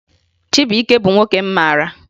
Chibuike bụ nwoke m mara